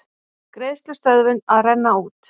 Greiðslustöðvun að renna út